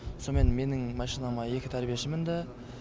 сомен менің машинама екі тәрбиеші мінді